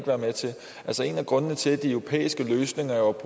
være med til en af grundene til at de europæiske løsninger er